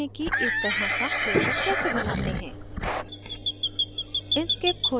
अब सीखते हैं कि इस तरह का ब्रोशर कैसे बनाते हैं